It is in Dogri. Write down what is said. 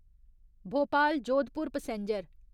भोपाल जोधपुर पैसेंजर